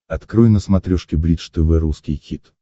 открой на смотрешке бридж тв русский хит